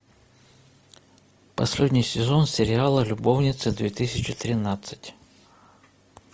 последний сезон сериала любовницы две тысячи тринадцать